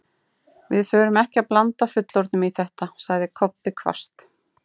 Við förum ekki að blanda fullorðnum í þetta, sagði Kobbi hvasst.